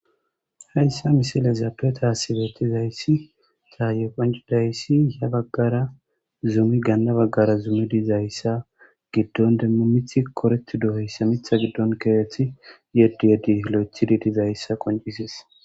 Hayssa misile zaappe taasibeetizayssi caaye qonci dayssi ya baggara zumi ganna baggara zumidizayssa giddon demmu mith koretu do heyssa mitha giddon keerethi yeddi yeddi hlo'ethi didizayssa qoncises.